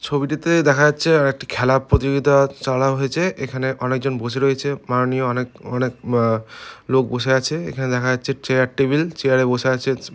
ছবিটিতে দেখা যাচ্ছে একটি খেলা প্রতিযোগিতার চলা হয়েছে। এখানে অনেকজন বসে রয়েছে মাননীয় অনেক অনেক লোক বসে আছে। এখানে দেখা যাচ্ছে চেয়ার টেবিল চেয়ার -এ বসে আছে ।